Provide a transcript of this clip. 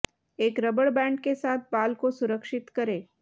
एक rubber band के साथ बाल को सुरक्षित करें